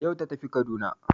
Yau ta tafi Kaduna